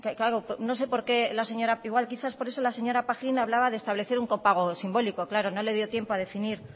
igual quizás por eso la señora pajín hablaba de establecer un copago simbólico claro no le dio tiempo a definir